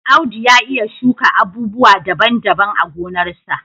Audu ya iya shuka abubuwa daban-daban a gonarsa.